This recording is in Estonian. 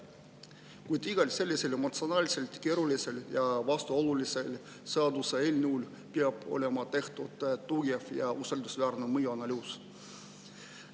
Kuid iga sellise emotsionaalselt keerulise ja vastuolulise seaduseelnõu kohta peab olema tehtud tugev ja usaldusväärne mõjuanalüüs.